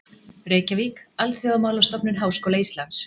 Reykjavík: Alþjóðamálastofnun Háskóla Íslands.